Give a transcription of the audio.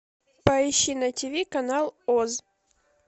поищи на тв канал оз